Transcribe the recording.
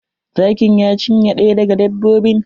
Zakin ya cinye ɗaya daga dbbobin.